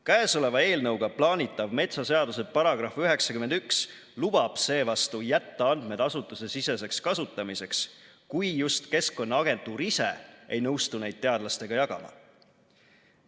Käesoleva eelnõuga plaanitav metsaseaduse § 91 lubab seevastu jätta andmed asutusesiseseks kasutamiseks, kui just Keskkonnaagentuur ise ei nõustu neid teadlastega jagama.